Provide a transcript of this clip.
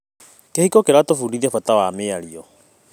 Kĩhiko kĩratũbundithia bata wa mĩario.